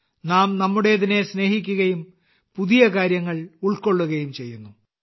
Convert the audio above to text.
നാം നമ്മുടേതിനെ സ്നേഹിക്കുകയും പുതിയ കാര്യങ്ങൾ ഉൾക്കൊള്ളുകയും ചെയ്യുന്നു